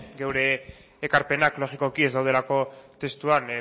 geure ekarpenak logikoki ez daudelako testuan